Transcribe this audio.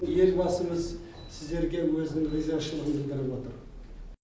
елбасымыз сіздерге өзінің ризашылығын білдіріп отыр